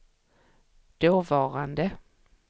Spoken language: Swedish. dåvarande